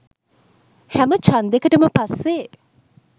හැම චන්දෙකටම පස්සෙ